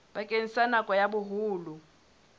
bakeng sa nako ya boholo